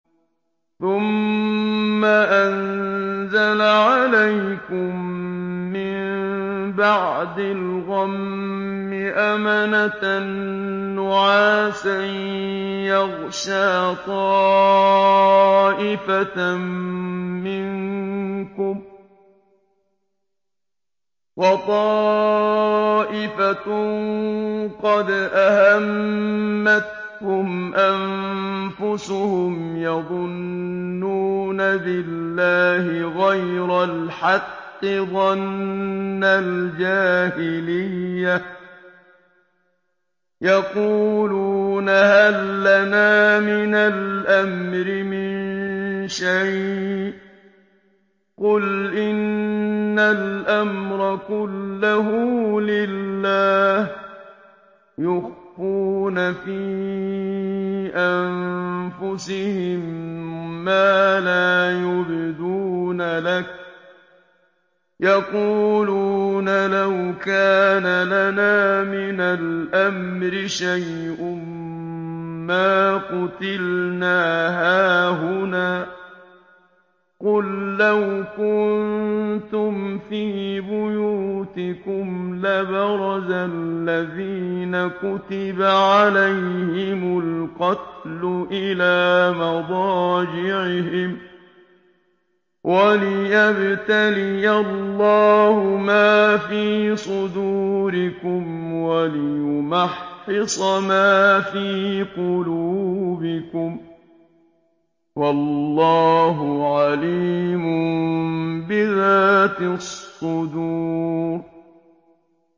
ثُمَّ أَنزَلَ عَلَيْكُم مِّن بَعْدِ الْغَمِّ أَمَنَةً نُّعَاسًا يَغْشَىٰ طَائِفَةً مِّنكُمْ ۖ وَطَائِفَةٌ قَدْ أَهَمَّتْهُمْ أَنفُسُهُمْ يَظُنُّونَ بِاللَّهِ غَيْرَ الْحَقِّ ظَنَّ الْجَاهِلِيَّةِ ۖ يَقُولُونَ هَل لَّنَا مِنَ الْأَمْرِ مِن شَيْءٍ ۗ قُلْ إِنَّ الْأَمْرَ كُلَّهُ لِلَّهِ ۗ يُخْفُونَ فِي أَنفُسِهِم مَّا لَا يُبْدُونَ لَكَ ۖ يَقُولُونَ لَوْ كَانَ لَنَا مِنَ الْأَمْرِ شَيْءٌ مَّا قُتِلْنَا هَاهُنَا ۗ قُل لَّوْ كُنتُمْ فِي بُيُوتِكُمْ لَبَرَزَ الَّذِينَ كُتِبَ عَلَيْهِمُ الْقَتْلُ إِلَىٰ مَضَاجِعِهِمْ ۖ وَلِيَبْتَلِيَ اللَّهُ مَا فِي صُدُورِكُمْ وَلِيُمَحِّصَ مَا فِي قُلُوبِكُمْ ۗ وَاللَّهُ عَلِيمٌ بِذَاتِ الصُّدُورِ